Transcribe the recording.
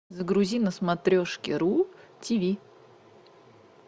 загрузи на смотрешке ру тиви